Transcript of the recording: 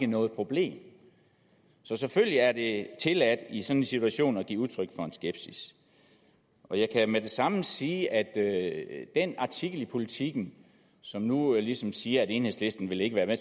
noget problem så selvfølgelig er det tilladt i en sådan situation at give udtryk for skepsis og jeg kan med det samme sige at den artikel i politiken som nu ligesom siger at enhedslisten ikke vil være